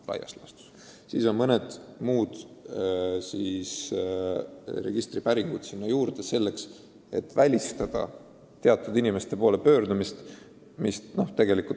Üldiselt on ette nähtud veel mõned muud registripäringud, et välistada teatud inimeste poole pöördumist.